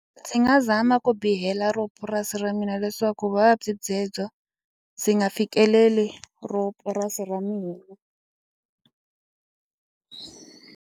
Ndzi nga zama ku bihela ro purasi ra mina leswaku vuvabyi byebyo byi nga fikeleli ro purasi ra mina.